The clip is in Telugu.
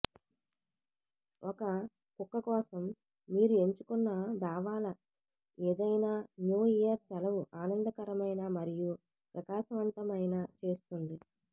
ఒక కుక్క కోసం మీరు ఎంచుకున్న దావాల ఏదైనా న్యూ ఇయర్ సెలవు ఆనందకరమైన మరియు ప్రకాశవంతమైన చేస్తుంది